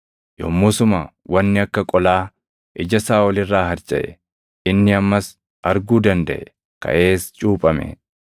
Yommusuma wanni akka qolaa ija Saaʼol irraa harcaʼe; inni ammas arguu dandaʼe. Kaʼees cuuphame.